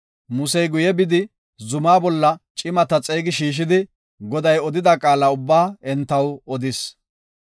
Musey guye bidi, zumako cimata xeegi shiishidi, Goday odida qaala ubbaa entaw odis.